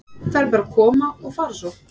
Þær bara koma og fara svo.